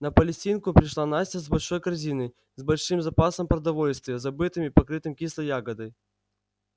на палестинку пришла настя с большой корзиной с большим запасом продовольствия забытым и покрытым кислой ягодой